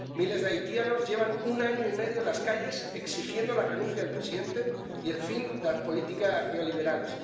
Miles de haitianos llevan un año y medio en las calles exigiendo la renuncia del presidente y el fin de las políticas neoliberales.